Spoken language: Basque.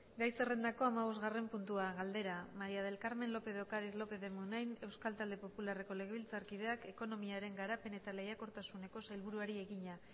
gai zerrendako hamabostgarren puntua galdera maría del carmen lópez de ocariz lópez de munain euskal talde popularreko legebiltzarkideak ekonomiaren garapen eta lehiakortasuneko sailburuari egina